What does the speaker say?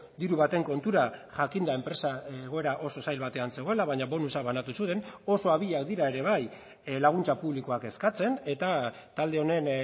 diru baten kontura jakin da enpresa egoera oso zail batean zegoela baina bonusa banatu zuten oso abilak dira ere bai laguntza publikoak eskatzen eta talde honen